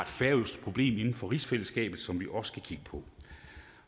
færøsk problem inden for rigsfællesskabet som vi også skal kigge på